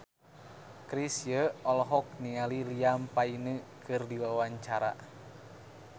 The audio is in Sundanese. Chrisye olohok ningali Liam Payne keur diwawancara